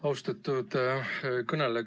Austatud kõneleja!